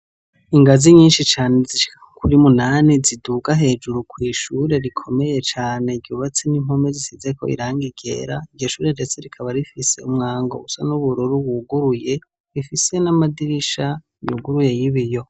Inganzi nyinshi cane zishika kuri munani ziduga hejuru kw'ishure rikomeye cane ryubatse nimpome zisize irangi ryera iryoshure ndetse rikaba rifise umwango USA nubururu wuguruye ndetse n'amadirisha yuguruye yibiyo.